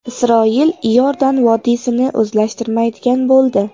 Isroil Iordan vodiysini o‘zlashtirmaydigan bo‘ldi.